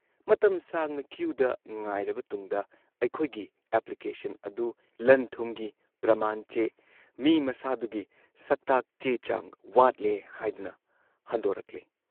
ꯃꯇꯝ ꯁꯥꯡꯅ ꯀ꯭ꯌꯨꯗ ꯉꯥꯏꯔꯕ ꯇꯨꯡꯗ ꯑꯩꯈꯣꯏꯒꯤ ꯑꯦꯄ꯭ꯂꯤꯀꯦꯁꯟ ꯑꯗꯨ ꯂꯟꯊꯨꯝꯒꯤ ꯄ꯭ꯔꯃꯥꯟ ꯆꯦ, ꯃꯤ ꯃꯁꯥꯗꯨꯒꯤ ꯁꯛꯇꯥꯛ ꯆꯦꯆꯥꯡ ꯋꯥꯠꯂꯦ ꯍꯥꯏꯗꯨꯅ ꯍꯟꯗꯣꯔꯛꯂꯦ ꯫